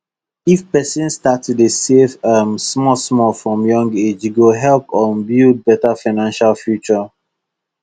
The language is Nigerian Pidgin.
if person start to dey save um smallsmall from young age e go help um build better financial future